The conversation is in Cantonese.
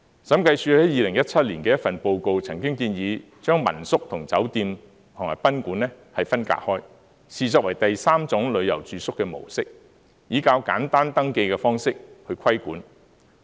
審計署曾在2017年的一份報告建議將民宿與酒店及賓館分隔開，視作第三種旅遊住宿的模式，以較簡單登記的方式來規管。